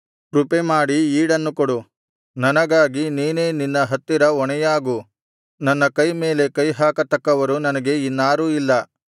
ಕೃಪೆಮಾಡಿ ಈಡನ್ನು ಕೊಡು ನನಗಾಗಿ ನೀನೇ ನಿನ್ನ ಹತ್ತಿರ ಹೊಣೆಯಾಗು ನನ್ನ ಕೈ ಮೇಲೆ ಕೈ ಹಾಕತಕ್ಕವರು ನನಗೆ ಇನ್ನಾರೂ ಇಲ್ಲ